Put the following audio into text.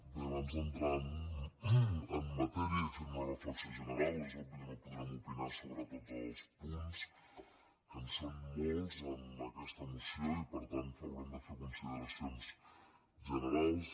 bé abans d’entrar en matèria i fer una reflexió general és obvi que no podrem opinar sobre tots els punts que en són molts en aquesta moció i per tant haurem de fer consideracions generals